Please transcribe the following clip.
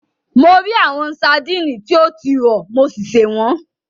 Mo rí àwọn sadíìnì tí o ti rọ̀, mo sì sè wọ́n.